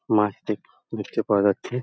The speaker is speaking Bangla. মাছটি দেখতে পাওয়া যাচ্ছে|